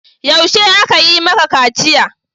Yaushe aka yi maka kaciya?